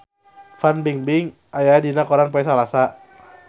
Fan Bingbing aya dina koran poe Salasa